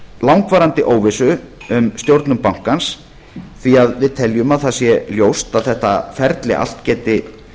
langvarandi óvissu um stjórnun bankans því að við teljum að það sé ljóst er að þetta ferli allt geti